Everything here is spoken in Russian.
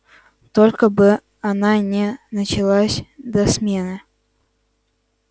только бы она не началась до смены